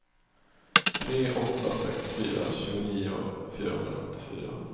tre åtta sex fyra tjugonio fyrahundrasjuttiofyra